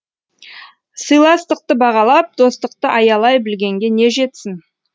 сыйластықты бағалап достықты аялай білгенге не жетсін